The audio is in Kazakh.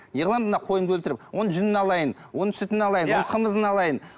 не қыламыз мына қойымды өлтіріп оның жүнін алайын оның сүтін алайын оның қымызын алайын